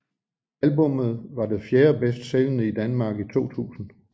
Albummet var det fjerde bedst sælgende i Danmark i 2000